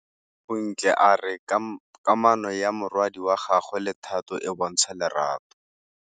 Bontle a re kamanô ya morwadi wa gagwe le Thato e bontsha lerato.